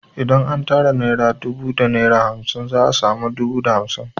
Idan an tara naira dubu da naira hamsin za a sami dubu da hamsin